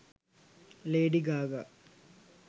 lady gaga